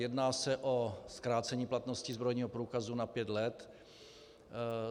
Jedná se o zkrácení platnosti zbrojního průkazu na pět let.